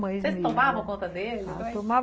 Você tomavam conta dele? Ah, tomava